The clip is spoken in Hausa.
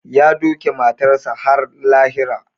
Ya doke matarsa ​​har lahira